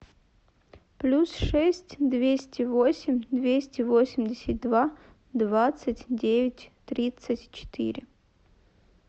плюс шесть двести восемь двести восемьдесят два двадцать девять тридцать четыре